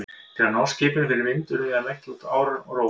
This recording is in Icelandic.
Til að ná skipinu fyrir vind urðum við að leggja út árar og róa.